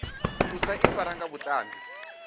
u sa ifara nga vhatambi